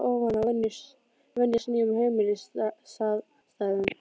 Og að þurfa þar á ofan að venjast nýjum heimilisaðstæðum.